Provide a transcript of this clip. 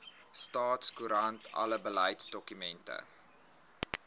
staatskoerant alle beleidsdokumente